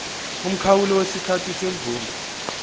umkhawulo wesikhathi semvume